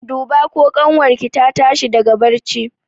Duba ko ƙanwar ki ta tashi daga barci!